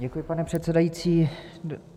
Děkuji, pane předsedající.